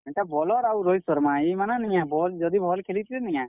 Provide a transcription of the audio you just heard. ହେଟା bowler ଆଉ ରୋହିତ୍ ଶର୍ମା ଇମାନେ ନିକେଁ ବଲ୍ ଯଦି ଭଲ୍ ଖେଲିଥିତେ ନିକେଁ?